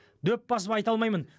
дөп басып айта алмаймын